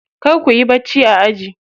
Kar kuyi bacci a aji.